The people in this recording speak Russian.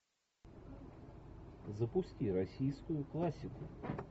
запусти российскую классику